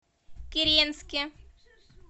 киренске